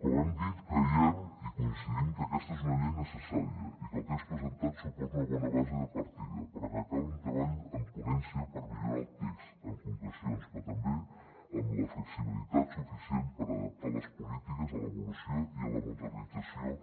com hem dit creiem i coincidim que aquesta és una llei necessària i que el text presentat suposa una bona base de partida però cal un treball en ponència per millorar el text amb concrecions però també amb la flexibilitat suficient per adaptar les polítiques a l’evolució i a la modernització